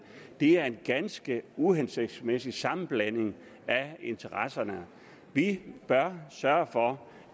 det er en ganske uhensigtsmæssig sammenblanding af interesser vi bør sørge for